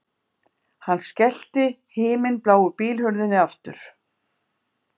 Hann skellti himinbláu bílhurðinni aftur